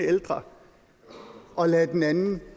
ældre og lader den anden